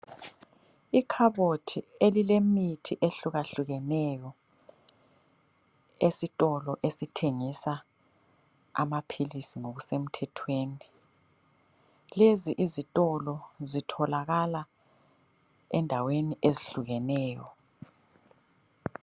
Ikhabothi elilemithi ehlukahlukeneyo esitolo esithengisa amaphilisi ngokusemthethweni. Lezi izitolo zitholakala endaweni ezihlukeneyo.